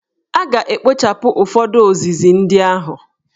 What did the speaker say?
A ga-ekpochapụ ụfọdụ ozizi ndị ahụ.